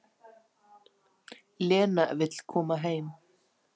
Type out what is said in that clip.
Lena vill koma heim.